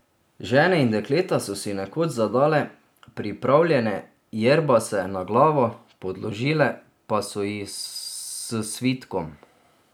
Žene in dekleta so si nekoč zadale pripravljene jerbase na glavo, podložile pa so jih s svitkom.